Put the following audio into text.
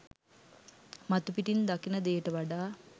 මතුපිටින් දකින දේට වඩා